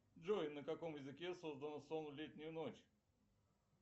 джой на каком языке создан сон в летнюю ночь